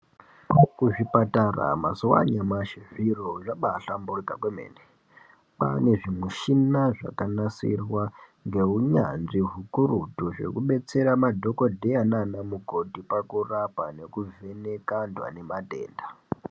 Kuzvipatara mazuwa anyamashi zviro zvabaahlamburika kwemene. Kwaane zvimishina zvakanasirwa ngeunyanzvi hukurutu hwekubetsera madhokodheya naanamukoti pakurapa nekuvheneka antu anematenda.